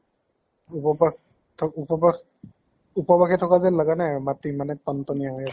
উপ্বাস উপ্বাস উপ্বাসে থাকা যেন লাগা নাই মাতটো ইমানে টন্ট্নীয়া হৈ আছে।